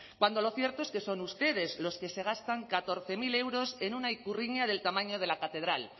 cuando lo cierto es que son ustedes los que se gastan catorce mil euros en una ikurriña del tamaño de la catedral